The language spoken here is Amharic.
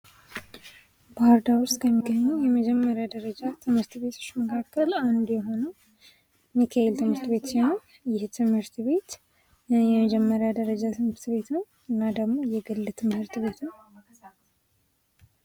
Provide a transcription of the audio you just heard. ባህር ዳር ውስጥ ከሚገኙ የመጀመሪያ ደረጃ ትምህርት ቤቶች መካከል የሆነው ሚካኤል ትምህርት ቤት መካከል አንዱ ሲሆን የመጀመሪያ ደረጃ ትምህርት ቤት ነው እና ደሞ የግል ትምህርት ቤት ነው።